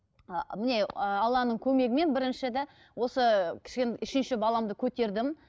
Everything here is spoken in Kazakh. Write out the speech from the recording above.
ы міне ыыы алланың көмегімен бірінші де осы үшінші баламды көтердім